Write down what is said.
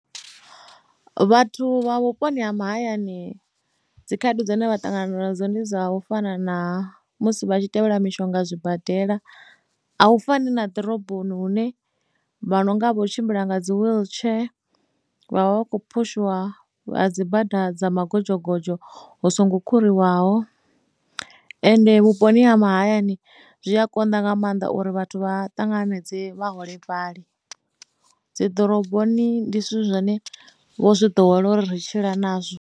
Vhathu vha vhuponi ha mahayani dzi khaedu dzine vha ṱangana nadzo ndi dza u fana na musi vha tshi tevhela mishonga zwibadela a u fani na ḓiroboni hune vha no nga vho tshimbila nga dzi wheelchair vha vha vha kho phushiwa vha dzi bada dza magodzhogodzho hu songo kha khuriwaho ende vhuponi ha mahayani zwi a konḓa nga maanḓa uri vhathu vha ṱanganedze vhaholefhali dzi ḓoroboni ndi zwithu zwine vho zwi ḓowela uri ri tshila nazwo.